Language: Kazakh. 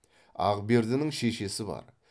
ақбердінің шешесі бар